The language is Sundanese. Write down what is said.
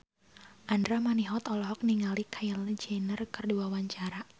Andra Manihot olohok ningali Kylie Jenner keur diwawancara